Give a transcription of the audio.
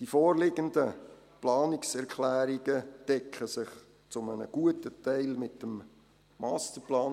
Die vorliegenden Planungserklärungen decken sich zu einem guten Teil mit dem Masterplan.